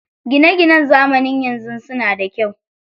Gina ginan zamanin yanzu suna da kyau.